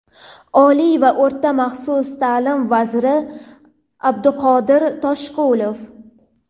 Oliy va o‘rta maxsus ta’lim vaziri Abduqodir Toshqulov.